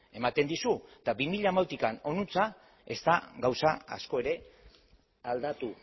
ematen dizu eta bi mila hamalautik honantz ez da gauza asko ere aldatu